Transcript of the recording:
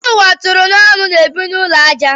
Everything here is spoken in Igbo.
Ndị ụwa tụrụ n'ọnụ na-ebi n'ụlọ ajá.